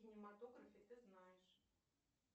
кинематографе ты знаешь